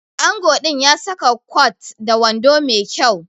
Ango din ya saka kwat da wando Mai kyau